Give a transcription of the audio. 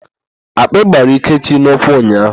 Akpị gbara Ikechi n'ụkwụ ụnyaahụ.